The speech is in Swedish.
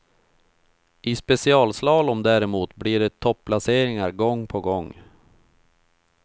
I specialslalom däremot blir det topplaceringar gång på gång.